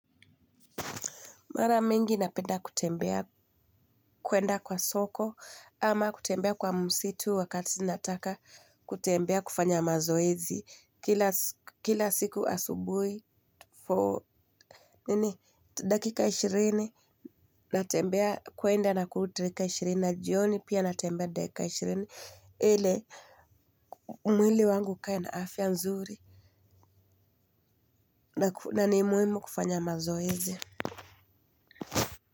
Mara mingi napenda kutembea, kuenda kwa soko ama kutembea kwa msitu wakati nataka kutembea kufanya mazoezi. Kila siku asubuhi, for ninii dakika ishirini, natembea kuenda na kurudi dakika ishirini na jioni pia natembea dakika ishirini, ili mwili wangu ukae na afya nzuri. Na ni muhimu kufanya mazoezi.